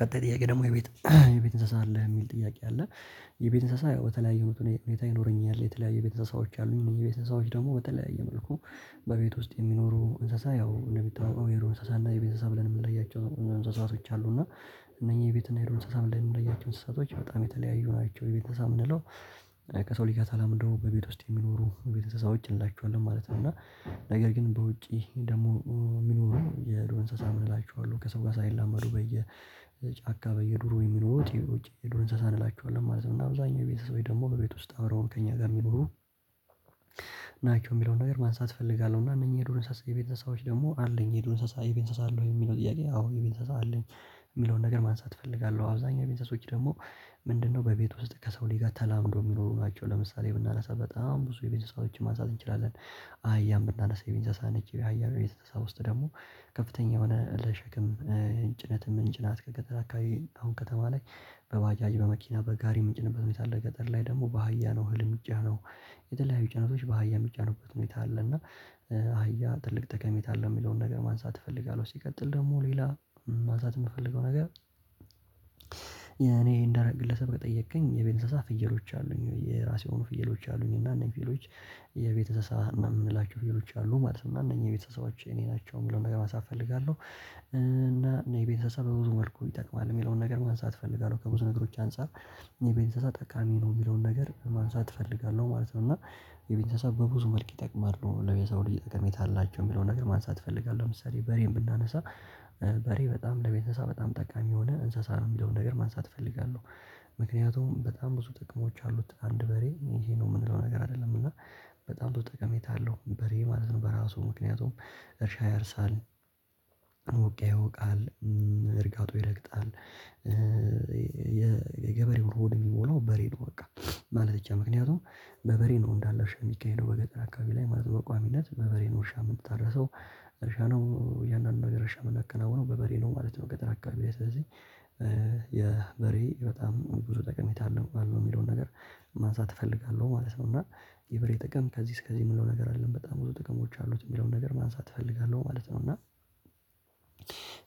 ቀጣይ ጥያቄ ደግሞ የቤት የቤት እንሰሳ አለህ የሚል ጥያቄ አለ? የቤት እንስሳ ያው በተለያዩ መልኩ እኔ ቤቴ ይኖረኛለህ የተለያዩ የቤት እንስሳዎች አሉኝ የቤት እንስሳዎች ደግሞ በተለያየ መልኩ። በቤት ውስጥ የሚኖሩ እንስሳ ያው እንደሚታወቀው የዱር እንስሳ እና የቤተሰብ እንስሳ ብለን ምንለያቸው እንስሳቶች አሉ እና እነኚህ ቤት እና የዱር እንስሳ ብለን ምንለያቸው እንስሳቶች በጣም የተለያዩ ናቸው። የቤተሰብ እንስሳ ምንለው ከሰው ልጅ ተላምዶ በቤት ውስጥ የሚኖሩ የቤተሰብ እንስሳዎች እንላቸዋለን ማለት ነው እና። ነገር ግን በውጪ ደግሞ ሚኖሩ የዱር እንሰሳ ምንላቸው አሉ ከሰው ጋር ሳይላመዱ በየጫካ በየዱሩ የሚኖሩ በውጪ የዱር እንሰሳ እንላችኋለን ማለት ነው እና አብዛኛው የቤት እንስሳዎች ደግሞ በቤት ውስጥ አብረውን ከእኛ ጋር ሚኖሩ። ናቸው እሚለውን ነገር ማንሳት እፈልጋለሁ እና እነኚህ የዱር እንስሳ የቤት እንስሳዎች ደግሞ አለኝ የዱር እንስሳ የቤት እንስሳ አሉኝ የሚለው ጥያቄ አዎ የቤት እንስሳ አለኝ። እሚለውን ነገር ማንሳት እፈልጋለሁ አብዛኛው የቤት እንስሶች ደግሞ። ምንድነው በቤት ውስጥ ከሰው ልጅ ተላምዶ እሚኖሩ ናቸው። ለምሳሌ ብናነሳ በጣም ብዙ የቤት እንስሳዎችን ማንሳት እንችላለን። አያን ብናነሳ የቤት እንስሳ ነች ሃያ በቤት እንስሳ ውስጥ ደግሞ ከፍተኛ የሆነ ለሸክም። ጭነትም እምንጭናት ከገጠር አካባቢ አሁን ከተማ ላይ በባጃጅ በመኪና በጋሪ ምንጭንበት ሁኔታ አለ። ገጠር ላይ ደግሞ በሃያ ነው እህል እሚጫነው። የተለያዩ ጭነቶች በሃያ እሚጫኑበት ሁኔታ አለ። እና ሃያ ትልቅ ጠቀሜታ አለው እሚለውን ነገር ማንሳት እፈልጋለሁ። ሲቀጥል ደግሞ ሌላ ማንሳት እምፈልገው ነገር። እኔ እንደ ግለሰብ ከጠየቅከኝ የቤት እንስሳ ፍየሎች አሉኝ ወይ የራሴ የሆኑ ፍየሎች አሉኝ እና እነኝህ ፍየሎች። የቤት እንስሳ ምንላቸው ነገሮች አሉ ማለት ነው እና እነኚህ የቤተሰባዎች የኔ ናቸው እሚለውን ነገር ማንሳት እፈልጋለሁ። እና እኔ ቤተሰብ በብዙ መልኩ ይጠቅማል እሚለውን ነገር ማንሳት እፈልጋለሁ። ከብዙ ነገሮች አንፃር የቤት እንስሳ ጠቃሚ ነው እሚለውን ነገር ማንሳት እፈልጋለሁ ማለት ነው። እና የቤት እንስሳ በብዙ መልክ ይጠቅማሉ ለሰው ልጅ ጠሜታ አላቸው እሚለውን ነገር ማንሳት እፈልጋለሁ ለምሳሌ በሬን ብናነሳ። በሬ በጣም ለቤተሰብ በጣም ጠቃሚ የሆነ እንስሳ ነው እሚለውን ነገር ማንሳት እፈልጋለሁ። ምክንያቱም በጣም ብዙ ጥቅሞች አሉት አንድ በሬ ይሄ ነው እምንለው ነገር አይደለም እና። በጣም ብዙ ጠቀሜታ አለው በሬ ማለት ነው በራሱ ምክንያቱም እርሻ ያርሳል። እውቅያ ይወቃል። እርጋጡ ይረግጣል። የገበሬው ሆድ እሚሞላው በሬ ነው በቃ ማለት ይቻላል። ምክንያቱም በበሬ ነው እንዳለ እርሻ እሚካሄደው በገጠር አካባቢ ላይ ማለት በቋሚነት በበሬ ነው እርሻ ምታረሰው። እርሻ ነው እያንዳዱ ነገር እርሻ ምናከናውነው በበሬ ነው ማለት ነው። ገጠር አካባቢ ስለዚህ የበሬ በጣም ብዙ ጠቀሜታ አለው አለው እሚለውን ነገር ማንሳት እፈልጋለሁ። ማለት ነው። እና የበሬ ጥቅም ከዚህ እስከዚህ እምለው ነገር አይደለም በጣም ብዙ ጥቅሞች አሉት እሚለውን ነገር ማንሳት እፈልጋለሁ። ማለት ነው። እና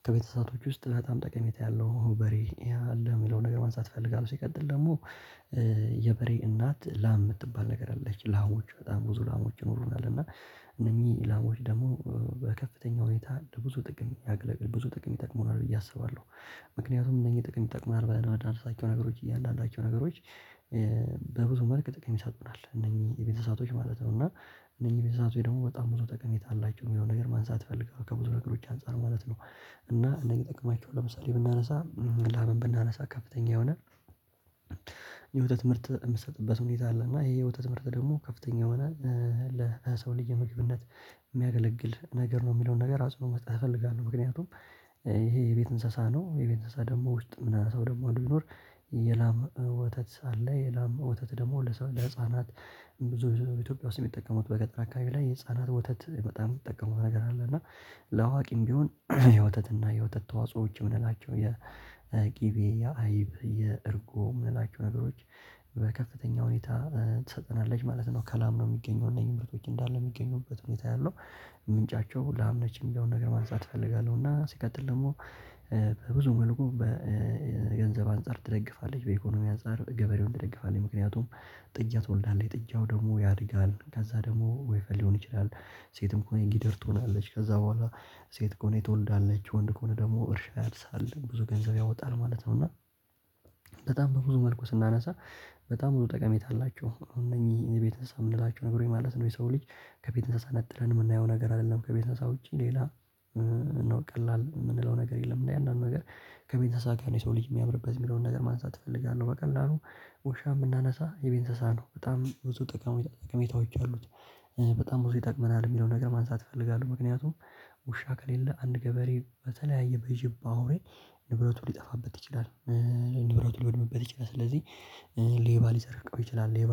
ከቤት እንስሳቶች ውስጥ በጣም ጠቀሜታ ያለው በሬ አለ እሚለውን ነገር ማንሳት እፈልጋለሁ። ሲቀጥል ደግሞ። የበሬ እናት ላም ምትባል ነገር አለች ላሞች በጣም ብዙ ላሞች ይኖሩናል እና እነኚህ ላሞች ደግሞ በከፍተኛ ሁኔታ ብዙ ጥቅም ያገለግል ብዙ ጥቅም ይጠቅሙናል ብዬ አስባለሁ። ምክንያቱም እነኚህ ጥቅም ይጠቅሙናል ብለን ምናነሳቸው ነገሮች እያንዳንዳቸው ነገሮች። በብዙ መልክ ጥቅም ይሰጡናል እነኚህ የቤት እንስሳቶች ማለት ነው። እና እነኚህ የቤት እንስሳቶች ደግሞ በጣም ብዙ ጠቀሜታ አላቸው እሚለውን ነገር ማንሳት እፈልጋለው ከብዙ ነገሮች አንፃር ማለት ነው። እና እነኝን ጥቅማቸው ለምሳሌ ብናነሳ ላም ብናነሳ ከፍተኛ የሆነ የወተት ምርት እምትሰጥበት ሁኔታ አለ። እና ይሄ የወተት ምርት ደግሞ ከፍተኛ የሆነ ለሰው ልጅ የምግብነት እሚያገለግል ነገር ነው። እሚለውን ነገር ራሱን መስጠት እፈልጋለሁ። ምክንያቱም ይሄ የቤት እንስሳ ነው የቤት እንስሳ ደግሞ ውስጥ ምናነሳው ደግሞ አንድ ቢኖር። የላም ወተት አለ የላም ወተት ደግሞ ለሰው ለህፃናት ብዙ ኢትዮጵያ ውስጥ እሚጠቀሙት በገጠር አካባቢ ላይ ህፃናት ወተት በጣም እሚጠቀሙት ነገር አለ። እና ለአዋቂም ቢሆን የወተት እና የወተት ተዋጾዎች እምንላቸው የቅቤ የአይብ የእርጎ ምንላቸው ነገሮች በከፍተኛ ሁኔታ ትሰጠናለች ማለት ነው። ከላም ነው እሚገኘው እነዚህ ምርቶች እንዳለ ሚገኙበት ሁኔታ ያለው ምንጫቸው ላም ነች። እሚለውን ነገር ማነሳት እፈልጋለሁ። እና ሲቀጥል ደግሞ በብዙ መልኩ በገንዘብ አንፃር ትደግፋለች በኢኮኖሚ አንፃር ገበሬውን ትደግፋለች። ምክንያቱም ጥጃ ትወልዳለች ጥጃው ደግሞ ያድጋል ከዛ ደግሞ ወይፈን ሊሆን ይችላል። ሴትም ከሆነች ጊደር ትሆናለች ከዛ በኋላ ሴት ከሆነ ትወልዳለች ወንድ ከሆነ ደግሞ እርሻ ያርሳል ብዙ ገንዘብ ያወጣል ማለት ነው። እና በጣም በብዙ መልኩ ስናነሳ በጣም ብዙ ጠቀሜታ አላቸው። እነኚህ የቤት እንስሳ ምንላቸው ነገሮች ማለት ነው። የሰው ልጅ ከቤት እንስሳ ነጥለን እምናየው ነገር አይደለም። ከቤት እንስሳ ውጪ ሌላ ነው ቀላል እምንለው ነገር የለም። እያንዳዱ ነገር ከቤት እንስሳ ጋር ነው። የሰው ልጅ እሚያምርበት እሚለውን ነገር ማንሳት እፈልጋለሁ። በቀላሉ ውሻ ብናነሳ የቤት እንስሳ ነው በጣም ብዙ ጠቀሜታ ጠቀሜታዎች አሉት። በጣም ብዙ ይጠቅመናል እሚለው ነገር ማንሳት እፈልጋለሁ። ምክንያቱም ውሻ ከሌለ አንድ ገበሬ በተለያየ በጅብ በአውሬ ንብረቱ ሊጠፋበት ይችላል። ንብረቱ ልወድምበት ይችላል። ስለዚህ ሌባ ሊሰራቀው ይችላል። ሌባ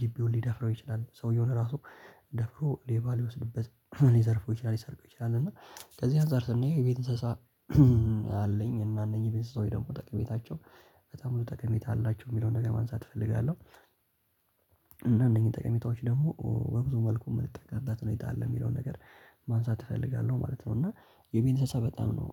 ግቢውን ሊደፍረው ይችላል። ሰውየው ራሱ ደፍሮ ሌባ ሊወስድበት ሊዘርፈው ይችላል ሊሰርቀው ይችላል። እና ከዚህ አንፃር ስናየው የቤት እንስሳ አለኝ እና እነኚህ ቤት እንስሳዎች ወይ ደግሞ ጠቀሜታቸው በጣም ብዙ ጠቀሜታ አላቸው እሚለውን ነገር ማንሳት እፈልጋለሁ። እና እነኚህን ጠቀሜታዎች ደግሞ በብዙ መልኩ እምንጠቀምበት ሁኔታ አለ። እሚለውን ነገር ማንሳት እፈልጋለሁ ማለት ነው። እና የቤት እንስሳ በጣም ነው